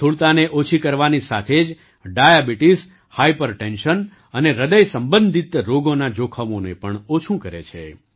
સ્થૂળતાને ઓછી કરવાની સાથે જ ડાયાબિટીસ હાઇપરટેન્શન અને હૃદયસંબંધિત રોગોનાં જોખમોને પણ ઓછું કરે છે